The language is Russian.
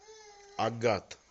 агат